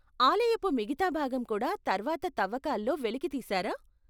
ఆలయపు మిగతా భాగం కూడా తర్వాత తవ్వకాల్లో వెలికి తీశారా?